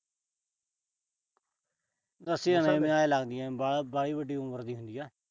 ਦੱਸੀ ਤਾਂ ਜਾਂਦਾ ਆਏ ਲੱਗਦਾ ਜਿਵੇਂ ਵਾ ਅਹ ਵਾਹਲੀ ਵੱਡੀ ਉਮਰ ਦੀ ਹੁੰਦੀ ਆ।